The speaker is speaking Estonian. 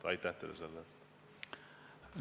Aitäh teile selle eest!